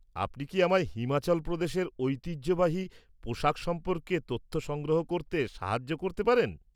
আপনি কি আমায় হিমাচল প্রদেশের ঐতিহ্যবাহী পোশাক সম্পর্কে তথ্য সংগ্রহ করতে সাহায্য করতে পারেন?